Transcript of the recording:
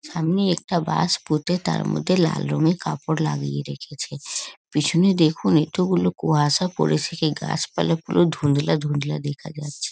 সামনে একটা বাঁশ পুঁতে তার মধ্যে লাল রঙের কাপড় লাগিয়ে রেখেছে। পিছনে দেখুন এত গুলো কুয়াশা পড়েছে কি গাছপালা পুরো ধুন্দলা ধুন্দলা দেখা যাচ্ছে।